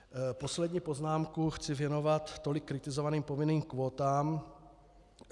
Poslední poznámku chci věnovat tolik kritizovaným povinným kvótám.